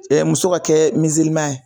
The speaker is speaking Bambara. Ɛ muso ka kɛ ye